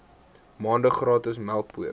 maande gratis melkpoeier